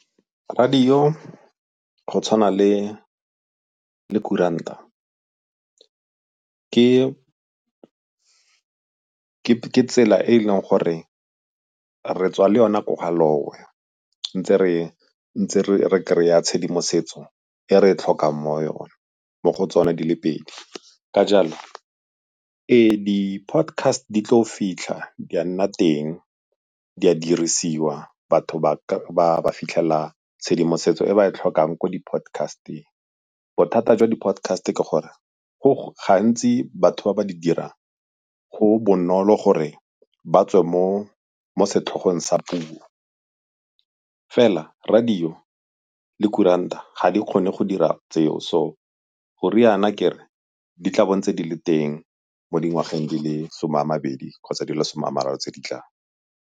Radio go tshwana le kuranta ke tsela e e leng gore re tswa le yona ko ga ntse re kry-a tshedimosetso e re e tlhokang mo go tsona di le pedi. Ka jalo e di-podcast di tlo fitlha di a nna teng, di a dirisiwa, batho ba fitlhela tshedimosetso e ba e tlhokang ko di-podcast-eng. Bothata jwa di-podcast ke gore gantsi batho ba ba di dirang go bonolo gore ba tswe mo setlhogong sa puo fela radio le kuranta ga di kgone go dira tseo so goriana kere di tla bo ntse di le teng mo dingwageng di le some a mabedi kgotsa di le some a mararo tse di tlang.